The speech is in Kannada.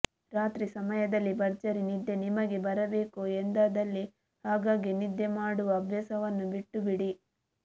ರಾತ್ರಿ ಸಯಮದಲ್ಲಿ ಭರ್ಜರಿ ನಿದ್ದೆ ನಿಮಗೆ ಬರಬೇಕು ಎಂದಾದಲ್ಲಿ ಆಗಾಗ್ಗೆ ನಿದ್ದೆ ಮಾಡುವ ಅಭ್ಯಾಸವನ್ನು ಬಿಟ್ಟುಬಿಡಿ